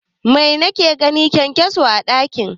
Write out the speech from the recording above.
Mai nake gani, kyankyaso a ɗaki